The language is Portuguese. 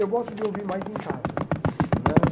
Eu gosto de ouvir mais em casa, né?